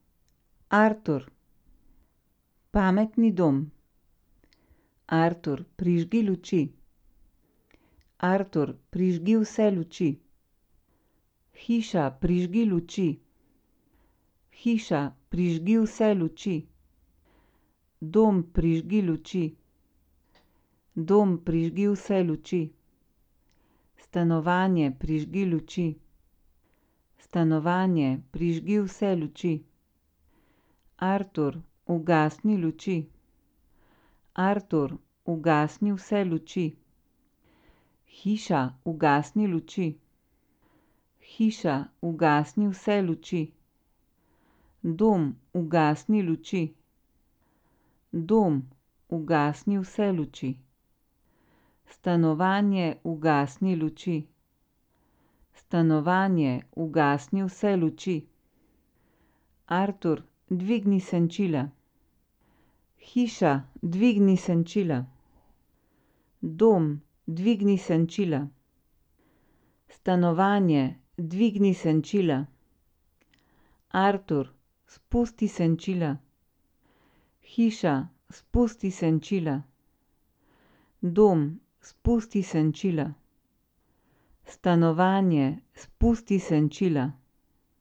Artur. Pametni dom. Artur, prižgi luči. Artur, prižgi vse luči. Hiša, prižgi luči. Hiša, prižgi vse luči. Dom, prižgi luči. Dom, prižgi vse luči. Stanovanje, prižgi luči. Stanovanje, prižgi vse luči. Artur, ugasni luči. Artur, ugasni vse luči. Hiša, ugasni luči. Hiša, ugasni vse luči. Dom, ugasni luči. Dom, ugasni vse luči. Stanovanje, ugasni luči. Stanovanje, ugasni vse luči. Artur, dvigni senčila. Hiša, dvigni senčila. Dom, dvigni senčila. Stanovanje, dvigni senčila. Artur, spusti senčila. Hiša, spusti senčila. Dom, spusti senčila. Stanovanje, spusti senčila.